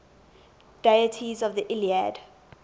deities in the iliad